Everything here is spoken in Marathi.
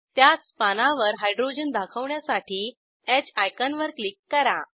त्याच पानावर हायड्रोजन दाखवण्यासाठी ह आयकॉन वर क्लिक करा